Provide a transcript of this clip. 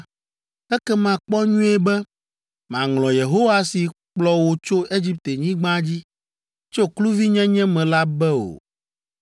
ekema kpɔ nyuie be, màŋlɔ Yehowa si kplɔ wò tso Egiptenyigba dzi, tso kluvinyenye me la be o.